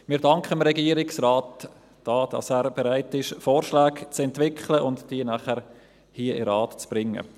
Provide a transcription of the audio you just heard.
Wir danken dem Regierungsrat, dass er bereit ist, Vorschläge zu entwickeln und diese nachher hier in den Rat zu bringen.